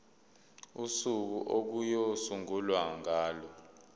usuku okuyosungulwa ngalo